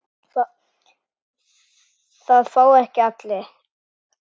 Það fá ekki allir.